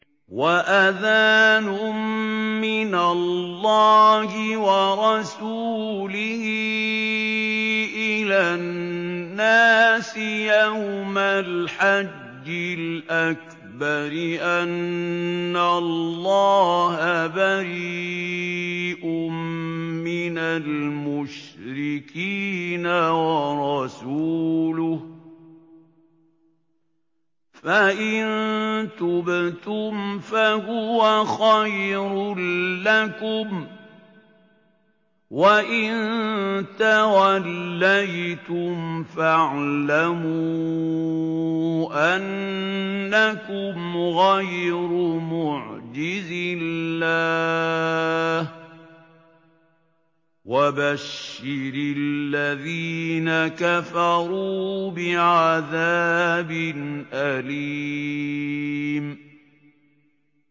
وَأَذَانٌ مِّنَ اللَّهِ وَرَسُولِهِ إِلَى النَّاسِ يَوْمَ الْحَجِّ الْأَكْبَرِ أَنَّ اللَّهَ بَرِيءٌ مِّنَ الْمُشْرِكِينَ ۙ وَرَسُولُهُ ۚ فَإِن تُبْتُمْ فَهُوَ خَيْرٌ لَّكُمْ ۖ وَإِن تَوَلَّيْتُمْ فَاعْلَمُوا أَنَّكُمْ غَيْرُ مُعْجِزِي اللَّهِ ۗ وَبَشِّرِ الَّذِينَ كَفَرُوا بِعَذَابٍ أَلِيمٍ